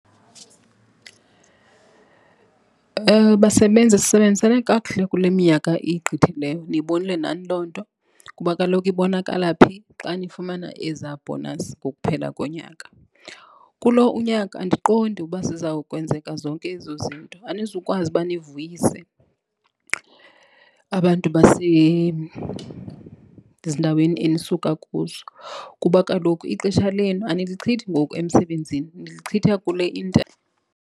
Basebenzi, sisebenzisane kakuhle kule minyaka igqithileyo niyibonile nani loo nto kuba kaloku ibonakala phi, xa nifumana ezaa bhonasi ngokuphela konyaka. Kulo unyaka andiqondi uba ziza kwenzeka zonke ezo zinto. Anizukwazi uba nivuyise abantu basezindaweni enisuka kuzo kuba kaloku ixesha lenu anilichithi ngoku emsebenzini, nilichitha kule .